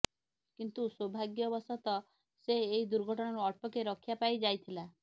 କିନ୍ତୁ ସୌଭାଗ୍ୟବଶତଃ ସେ ଏହି ଦୁର୍ଘଟଣାରୁ ଅଳ୍ପକେ ରକ୍ଷା ପାଇଯାଇଥିଲା